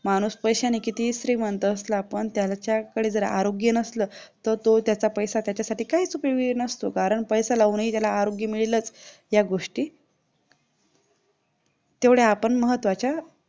माणूस पैशाने किती श्रीमंत असला पण त्याच्याकडे जर आरोग्य नसलं तर तो त्याचा पैसा त्याच्यासाठी काहीही उपयोग नसतो कारण पैसा लागूनही त्याला आरोग्य मिळेलच या गोष्टी तेवढ्या आपण महत्त्वाच्या